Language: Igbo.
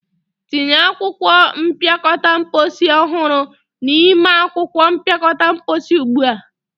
tinye akwụkwọ mpịakọta mposi ọhụrụ n'ime akwụkwọ mpịakọta mposi ugbu a!